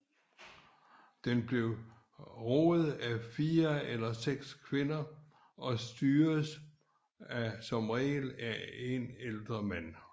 Den blev roet af 4 eller 6 kvinder og styredes som oftest af en ældre mand